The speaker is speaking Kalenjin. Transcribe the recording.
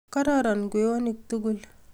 Kororon kwenyonik tugul